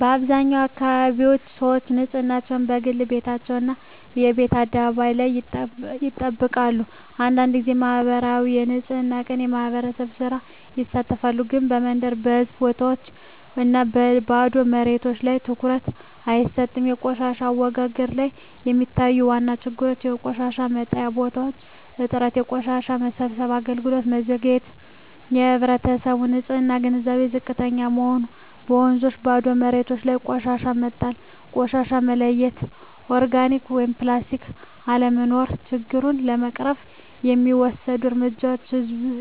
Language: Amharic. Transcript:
በአብዛኛው አካባቢዎች ሰዎች ንፅህናን፦ በግል ቤታቸው እና በየቤት አደባባይ ላይ ይጠብቃሉ አንዳንድ ጊዜ በማኅበራዊ የንፅህና ቀን (የማህበር ሥራ) ይሳተፋሉ ግን በመንገድ፣ በህዝብ ቦታዎች እና በባዶ መሬቶች ላይ ትኩረት አይሰጥም በቆሻሻ አወጋገድ ላይ የሚታዩ ዋና ችግሮች የቆሻሻ መጣያ ቦታዎች እጥረት የቆሻሻ መሰብሰብ አገልግሎት መዘግየት የህዝብ ንፅህና ግንዛቤ ዝቅተኛ መሆን በወንዞችና ባዶ መሬቶች ላይ ቆሻሻ መጣል ቆሻሻ መለያየት (ኦርጋኒክ/ፕላስቲክ) አለመኖር ችግሮቹን ለመቅረፍ የሚወሰዱ እርምጃዎች ህዝብን